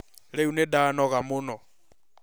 Rĩu nĩndanoga mũno